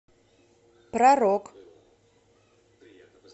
про рок